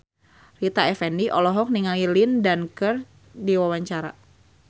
Rita Effendy olohok ningali Lin Dan keur diwawancara